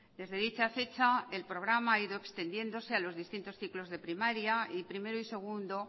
desde dicha fecha el programa ha ido extendiéndose a los distintos ciclos de primaria y primero y segundo